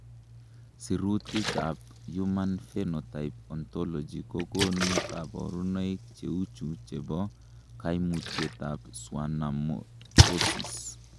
Sirutikab Human Phenotype Ontology kokonu koborunoik cheuchu chebo koimutietab Schwannomatosis .